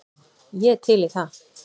Ég er til í það.